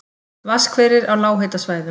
Vatnshverir á lághitasvæðum